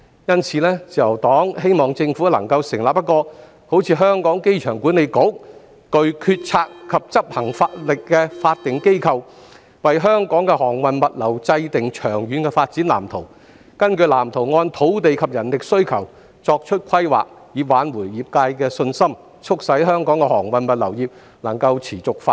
因此，自由黨希望政府能夠成立一個像香港機場管理局般具決策及執行能力的法定機構，為香港的航運物流制訂長遠的發展藍圖，並根據藍圖按土地及人力需求作出規劃，以挽回業界的信心，促使香港的航運物流業能夠持續發展。